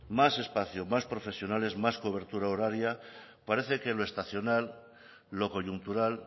más espacio más profesionales más cobertura horaria parece que lo estacional lo coyuntural